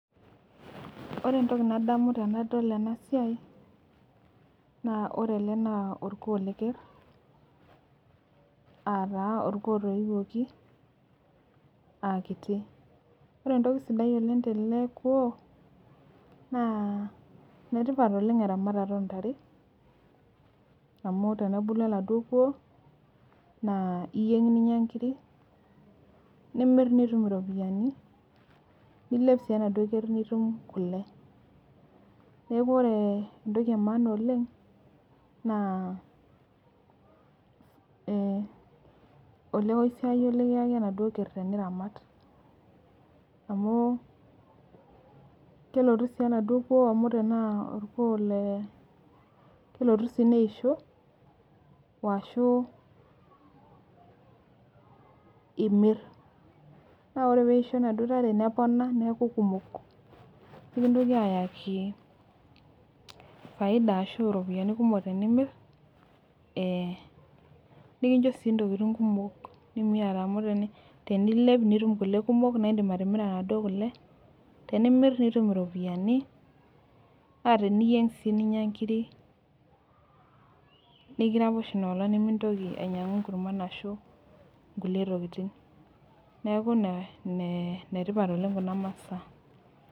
Ore entoki nadamu tenadol ena siai, naa ore ele naa orkuoo leker.aa taa orkuo lotoiwuoki.aa kitu. ore entoki sidai oleng tele kuoo naa, enetipat oleng eramatata oo ntare, amu tenebulu oladuoo kuoo naa iyieng ninyia nkiri. nimir nitum iropiyiani. nilep sii enaduoo ker nitum kule. neeku ore entoki emaana oleng naa olekosiayio, nikiayaki enaduoo ker teniramat. amu kelotu sii oladuoo kuoo amu orkuoo, le kelotu sii neisho, waashu imir. naa ore pee eisho inaduoo tare nepona. nimir neeku kumok. nikintoki aayaki faida ashu iropiyiani kumok tenimir, ee nikincho sii ntokitin kumok nimiata. amu tenilep nitum kule kumok, naa idim atimira Inaduoo kule. tenimir nitum iropiyiani .teniyieng' sii ninyia nkiri. nikiraposh Ina olonng nimintoki ainyiangu nkurman ashu nkulie tokitin. neeku ine tipat oleng Kuna masaa.